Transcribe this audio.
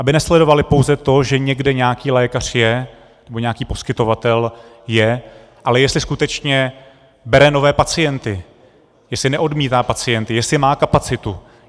Aby nesledovaly pouze to, že někde nějaký lékař je, nebo nějaký poskytovatel je, ale jestli skutečně bere nové pacienty, jestli neodmítá pacienty, jestli má kapacitu.